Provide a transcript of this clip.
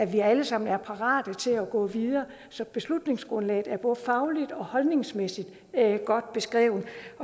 vi alle sammen er parate til at gå videre beslutningsgrundlaget er både fagligt og holdningsmæssigt godt beskrevet